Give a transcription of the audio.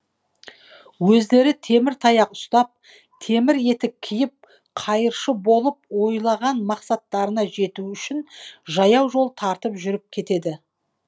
өздері темір таяқ ұстап темір етік киіп қайыршы болып ойлаған мақсаттарына жету үшін жаяу жол тартып жүріп кетеді